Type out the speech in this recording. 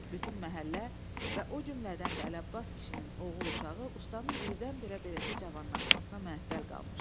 Bütün məhəllə və o cümlədən də Əli Abbas kişinin oğul uşağı ustanın birdən-birə beləcə cavanlaşmasına məəttəl qalmışdı.